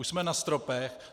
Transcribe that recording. Už jsme na stropech.